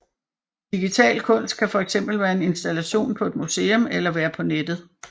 Digital kunst kan fx være en installation på et museum eller være på nettet